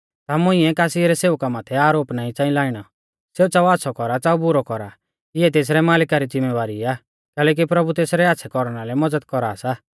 ता तुमुऐ कासी रै सेवका माथै आरोप नाईं च़ांई लाइणै सेऊ च़ाऊ आच़्छ़ौ कौरा च़ाऊ बुरौ कौरा इऐ तेसरै मालिका री ज़िम्मेबारी आ कैलैकि प्रभु तेसरै आच़्छ़ै कौरना लै मज़द कौरा सा